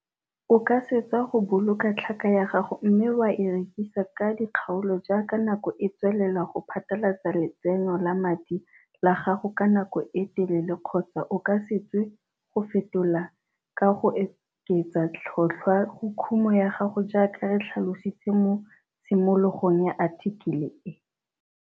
O ka swetsa go boloka tlhaka ya gago mme wa e rekisa ka dikgaolo jaaka nako e tswelela go phatalatsa letsenyo la madi la gago ka nako e telele kgotsa o ka swetsa go e fetola ka go oketsa tlhotlhwa go kumo ya gago jaaka re tlhalositse mo tshimologong ya athikele e.